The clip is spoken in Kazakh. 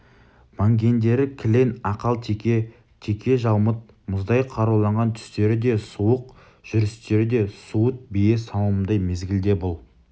мінгендері кілең ақалтеке текежаумыт мұздай қаруланған түстері де суық жүрістері де суыт бие сауымындай мезгілде бұл